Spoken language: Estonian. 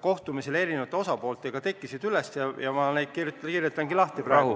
kohtumistel eri osapooltega üles kerkisid, ja ma neid kirjeldangi praegu.